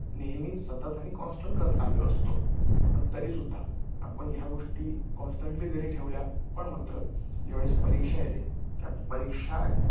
आणि बाहेर काढण्यासाठी मोट मोट व विजेवर अथवा अन्य उर्जेवर डिजिटल सौर ऊर्जा इत्यादी चालणाऱ्या पंपाची व्यवस्था करतात पाणी आणि सत स